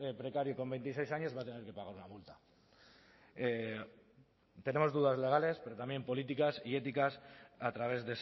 precario con veintiséis años va a tener que pagar una multa tenemos dudas legales pero también políticas y éticas a través